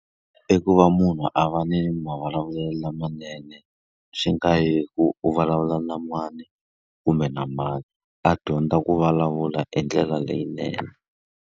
I ku va munhu a va ni mavulavulelo lamanene, swi nga hi ku u vulavula na mani kumbe na mani. A dyondza ku vulavula hi ndlela leyinene.